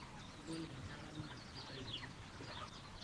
engol enjata naa kitayu engudi sidai